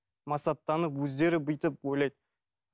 масаттанып өздері бүйтіп ойлайды